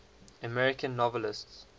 american novelists